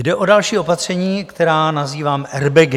Jde o další opatření, která nazývám airbagy.